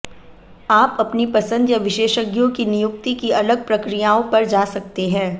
आप अपनी पसंद या विशेषज्ञों की नियुक्ति की अलग प्रक्रियाओं पर जा सकते हैं